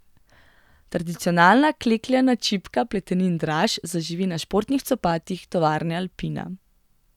Tradicionalna klekljana čipka Pletenin Draž zaživi na športnih copatih tovarne Alpina.